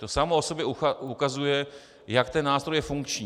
To samo o sobě ukazuje, jak ten nástroj je funkční.